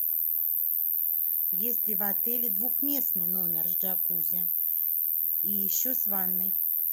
есть ли в отеле двухместный номер с джакузи и еще с ванной